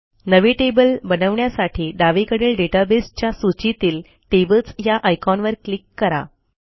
नवे टेबल बनवण्यासाठी डावीकडील डेटाबेस च्या सूचीतील टेबल्स या आयकॉनवर क्लिक करा